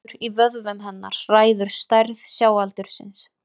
Samdráttur í vöðvum hennar ræður stærð sjáaldursins.